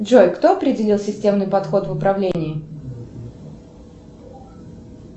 джой кто определил системный подход в управлении